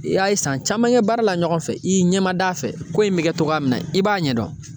I a ye san caman kɛ baara la ɲɔgɔn fɛ , i y'i ɲɛmada a fɛ, ko in be kɛ togoya min na i b'a ɲɛ dɔn.